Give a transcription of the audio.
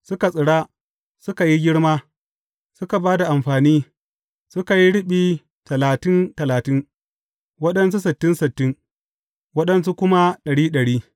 Suka tsira, suka yi girma, suka ba da amfani, suka yi riɓi talatin talatin, waɗansu sittin sittin, waɗansu kuma ɗari ɗari.